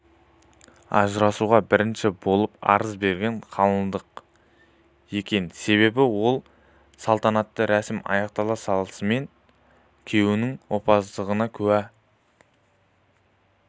ажырасуға бірінші болып арыз берген қалыңдық екен себебі ол салтанатты рәсім аяқтала салысымен күйеуінің опасыздығына куә